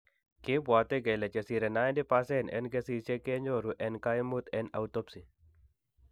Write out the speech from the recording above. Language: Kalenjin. Kibwate kole chesire 90% en kesiisyek kenyooru en kaimut en autopsy